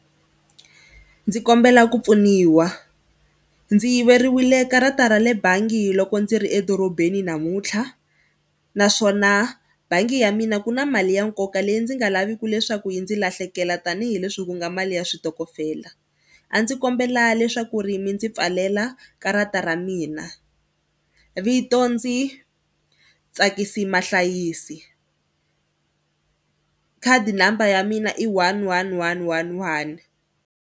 Ndzi kombela ku pfuniwa. Ndzi yiveriwile karata ra le bangi loko ndzi ri edorobeni namuntlha naswona bangi ya mina ku na mali ya nkoka leyi ndzi nga laviki leswaku yi ndzi lahlekela tanihileswi ku nga mali ya switokofela. A ndzi kombela leswaku ri mi ndzi pfalela karata ra mina vito ndzi Ntsakisi Mahlayisi khadi number ya mina i one one one one one.